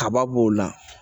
Kaba b'o la